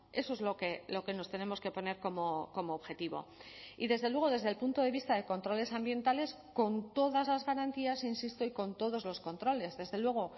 eso es lo que nos tenemos que poner como objetivo y desde luego desde el punto de vista de controles ambientales con todas las garantías insisto y con todos los controles desde luego